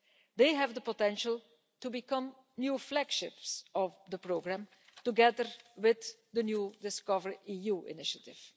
They have the potential to become new flagships of the programme, together with the new DiscoverEU initiative.